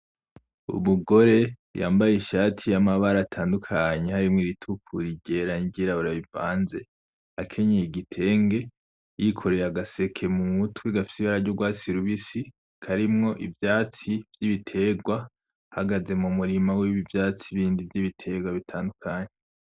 Umugore yambaye ishati y'amabara atandukanye harimwo iritukura iryera, n'iryirabura bivanze, akenyeye igitenge, yikwereye agaseke mu mutwe gafise ibara ry'urwatsi rubisi karimwo ivyatsi vy'ibitegwa ahagaze mu murima w'ibindi vyatsi vy'ibitegwa bitandukanye.